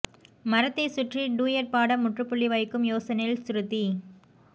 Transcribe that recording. மரத்தைச் சுற்றி டூயட் பாட முற்றுப்புள்ளி வைக்கும் யோசனையில் ஸ்ருதி